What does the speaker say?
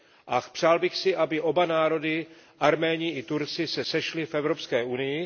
A přál bych si, aby oba národy, Arméni i Turci, se sešli v Evropské unii.